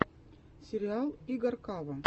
сериал игоркава